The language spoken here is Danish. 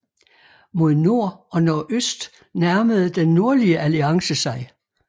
Mod nord og nordøst nærmede Den Nordlige Alliance sig